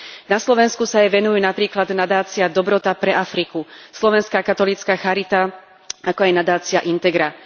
Na Slovensku sa jej venujú napríklad nadácia Dobrota pre Afriku, Slovenská katolícka charita, ako aj nadácia Integra.